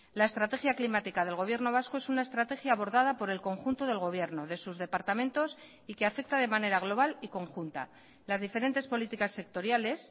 la estrategia climática del gobierno vasco es una estrategia abordada por el conjunto del gobierno de sus departamentos y que afecta de manera global y conjunta las diferentes políticas sectoriales